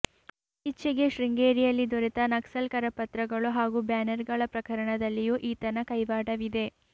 ಇತ್ತೀಚೆಗೆ ಶೃಂಗೇರಿಯಲ್ಲಿ ದೊರೆತ ನಕ್ಸಲ್ ಕರಪತ್ರಗಳು ಹಾಗೂ ಬ್ಯಾನರ್ಗಳ ಪ್ರಕರಣದಲ್ಲಿಯೂ ಈತನ ಕೈವಾಡವಿದೆ